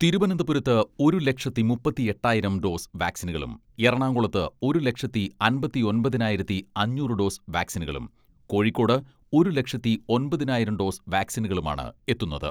തിരുവനന്തപുരത്ത് ഒരു ലക്ഷത്തി മുപ്പത്തിയെട്ടായിരം ഡോസ് വാക്സിനുകളും എറണാകുളത്ത് ഒരു ലക്ഷത്തി അമ്പത്തൊമ്പതിനായിരത്തി അഞ്ഞൂറ് ഡോസ് വാക്സിനുകളും, കോഴിക്കോട് ഒരു ലക്ഷത്തി ഒമ്പതിനായിരം ഡോസ് വാക്സിനുകളുമാണ് എത്തുന്നത്.